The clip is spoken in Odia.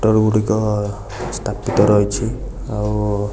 ସ୍ଥାପିତ ରହିଛି ଆଉ --